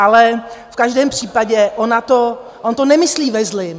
Ale v každém případě on to nemyslí ve zlém.